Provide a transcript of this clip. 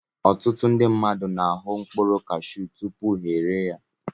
Ọtụtụ ndị mmadụ na-ahụ mkpụrụ cashew tupu ha erie ya